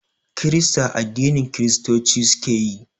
Kirista addinin Kiristoci suke yi